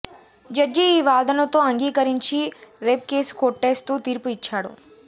judge ఈ వాదనతో అంగీకరించి రేప్ కేసు కొట్టేస్తూ తీర్పు ఇచ్చాడు